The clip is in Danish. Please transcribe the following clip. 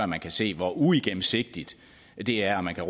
man kan se hvor uigennemsigtigt det er og man kan